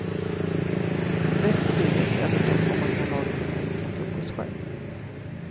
Bäst och billigast är förstås om man kan laga sin enkla frukost själv.